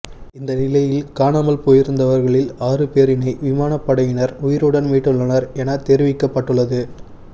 இந்தநிலையில் காணாமல் போயிருந்தவர்களில் ஆறு பேரினை விமானப் படையினர் உயிருடன் மீட்டுள்ளனர் எனத் தெரிவிக்கப்பட்டுள்ளது